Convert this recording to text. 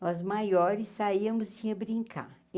Nós maiores saíamos íamos brincar.